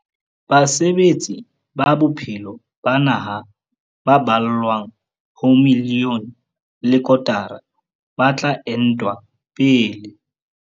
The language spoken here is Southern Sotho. Basebetsi ba bophelo ba naha ba ballwang ho miliyone le kotara ba tla entwa pele.